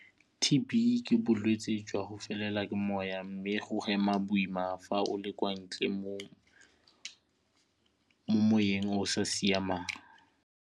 T_B ke bolwetse jwa go felelwa ke moya mme o hema boima fa o le kwa ntle mo moweng o sa siamang.